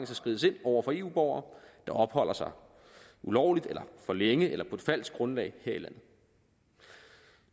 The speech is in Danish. skrides ind over for eu borgere der opholder sig ulovligt eller for længe eller på et falsk grundlag her i landet